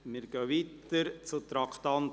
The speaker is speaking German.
Wir fahren weiter und kommen zum Traktandum 60.